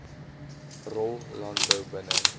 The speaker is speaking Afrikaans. rol landbou binne